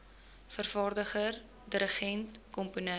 vervaardiger dirigent komponis